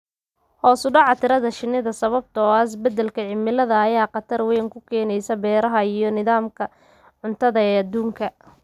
Hoos u dhaca tirada shinnida sababtoo ah isbeddelka cimilada ayaa khatar weyn ku ah beeraha iyo nidaamka cuntada ee adduunka.